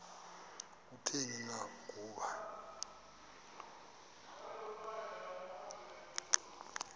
kutheni na ukuba